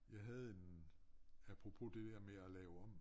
Jeg havde en apropos det der med at lave om